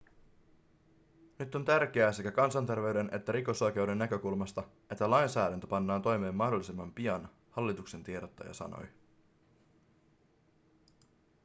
nyt on tärkeää sekä kansanterveyden että rikosoikeuden näkökulmasta että lainsäädäntö pannaan toimeen mahdollisimman pian hallituksen tiedottaja sanoi